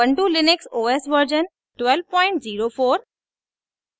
ubuntu Linux os version 1204